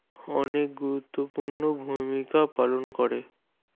অনেক গুরুত্বপূর্ণ ভূমিকা পালন করে